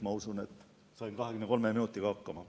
Ma usun, et saingi 23 minutiga hakkama.